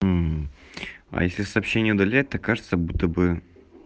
мм а если сообщение удалять так кажется будто бы